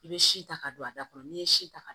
I bɛ si ta ka don a da kɔnɔ n'i ye si ta ka